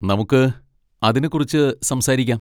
നമുക്ക് അതിനെ കുറിച്ച് സംസാരിക്കാം.